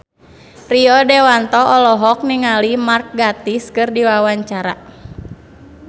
Rio Dewanto olohok ningali Mark Gatiss keur diwawancara